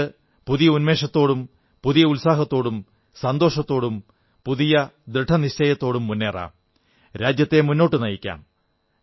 നമുക്ക് പുതിയ ഉന്മേഷത്തോടും പുതിയ ഉത്സാഹത്തോടും സന്തോഷത്തോടും പുതിയ ദൃഢനിശ്ചയത്തോടും മുന്നേറാം രാജ്യത്തെ മുന്നോട്ടു നയിക്കാം